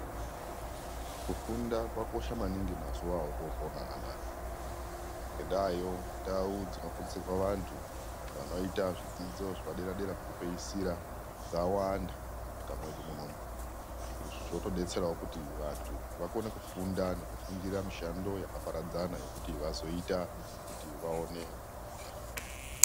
Kufunda kwakosha maningi mazuwa otoponaa anawa ngendayo ndau dzinofundisirwa vantu vanoita zvidzidzo zvepadera dera pekupeyisira dzawanda munyika mwedu munomu izvi zvotodetserawo kuti vantu vakone kufunda nekufundira mishando yakaparadzana yekuti vazoita kuti vaone kupona.